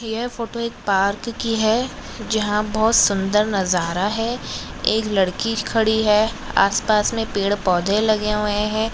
यह फोटो एक पार्क की है जहा बहुत सुंदर नजारा है एक लड़की खड़ी है आसपास मे पेड़-पोधे लगे हुए है।